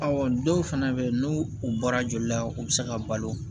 dɔw fɛnɛ bɛ yen n'u u bɔra joli la u bɛ se ka balo